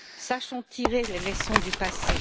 Sachons tirer les leçons du passé.